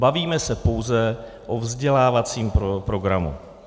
Bavíme se pouze o vzdělávacím programu.